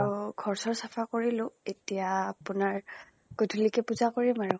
ঘৰ চৰ চাফা কৰিলো এতিয়া আপোনাৰ গধূলিকে পুজা কৰিম আৰু।